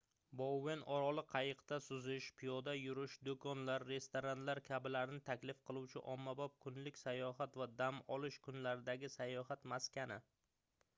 bouen oroli qayiqda suzish piyoda yurish doʻkonlar restoranlar kabilarni taklif qiluvchi ommabop kunlik sayohat va dam olish kunlaridagi sayohat maskani